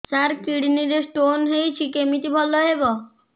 ସାର kidney ରେ stone ହେଇଛି କମିତି ଭଲ ହେବ